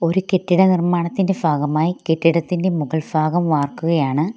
ഒരു കെട്ടിട നിർമാണത്തിന്റെ ഫാഗമായി കെട്ടിടത്തിന്റെ മുകൾഫാഗം വാർക്കുകയാണ്.